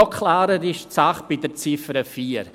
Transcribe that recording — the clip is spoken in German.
Noch klarer ist die Sache bei der Ziffer 4.